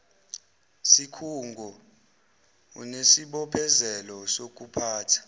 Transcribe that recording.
sikhungo unesibophezelo sokuphatha